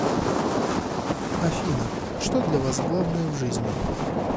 афина что для вас главное в жизни